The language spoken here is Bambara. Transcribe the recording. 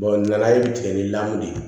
ŋanaye tigɛ ni lamɔ de ye